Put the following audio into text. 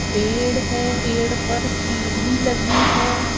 पेड़ है पेड़ पर सीढी लगी है।